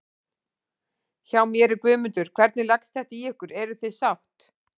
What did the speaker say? Hjá mér er Guðmundur, hvernig leggst þetta í ykkur, eruð þið sátt?